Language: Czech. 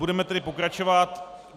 Budeme tedy pokračovat.